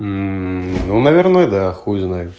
мм ну наверное да хуй знает